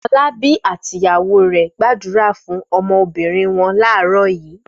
Fọlábí àti ìyàwó rẹ̀ gbàdúrà fún ọmọbìnrin wọn láàárọ̀ yìí.